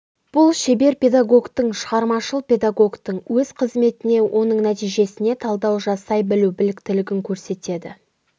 бұл шебер-педагогтың шығармашыл-педагогтың өз қызметіне оның нәтижесіне талдау жасай білу біліктілігін көрсетеді